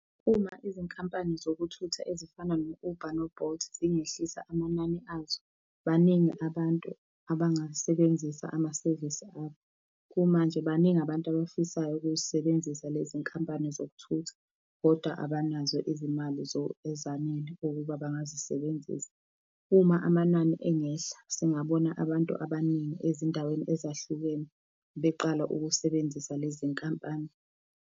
Uma izinkampani zokuthutha ezifana no-Uber no-Bolt zingehlisa amanani azo, baningi abantu abangasebenzisa amasevisi abo. Kumanje baningi abantu abafisayo ukuzisebenzisa lezinkampani zokuthutha, kodwa abanazo izimali ezanele ukuba bangazisebenzisa. Uma amanani engehla, singabona abantu abaningi ezindaweni ezahlukene beqala ukusebenzisa lezi iy'nkampani.